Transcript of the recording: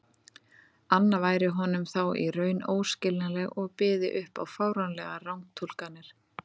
anna væri honum þá í raun óskiljanleg og byði upp á fáránlegar rangtúlkanir.